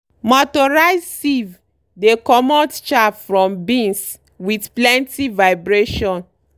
motorized sieve dey comot chaff from beans with plenty vibration